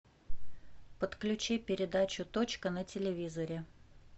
подключи передачу точка на телевизоре